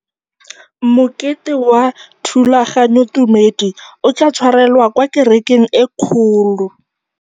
Mokete wa thulaganyôtumêdi o tla tshwarelwa kwa kerekeng e kgolo.